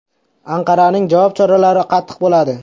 Anqaraning javob choralari qattiq bo‘ladi.